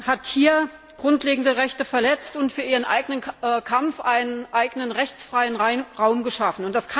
hat hier grundlegende Rechte verletzt und für ihren eigenen Kampf einen eigenen rechtsfreien Raum geschaffen.